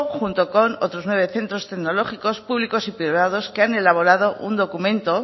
junto con otros nueve centro tecnológicos públicos y privados que han elaborado un documento